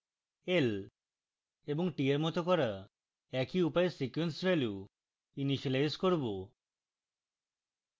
l এবং t we মত করা একই উপায়ে sequence ভ্যালু ইনিসিয়েলাইজ করব